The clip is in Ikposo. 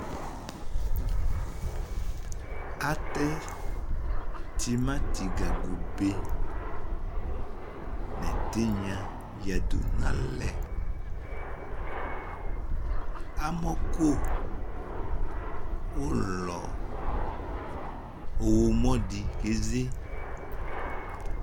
atɛ tomati gaŋgo be n'ɛtinya ya du n'alɛ amɔ kò ulɔ ɔwlɔmɔ di ke ze